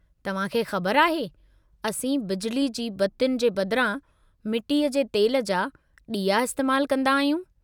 तव्हां खे ख़बर आहे, असीं बिजली जी बतियुनि जे बदिरां मिटीअ जे तेल जा ॾीआ इस्तेमालु कंदा आहियूं।